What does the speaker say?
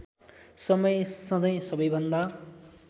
समय सधैँ सबैभन्दा